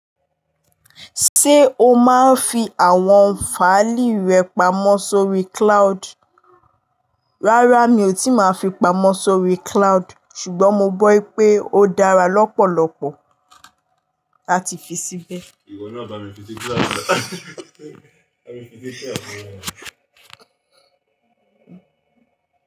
Ṣé o máa ń fi àwọn fáìlì rẹ pamọ́ sórí cloud? Rárá mi ò tíì máa fi pamọ́ sórí cloud ṣùgbọ́n mo gbọ́ i pé ó dára lọ́pọ̀lọpọ̀ láti fi síbẹ̀. Iwo na ba mi fi si cloud.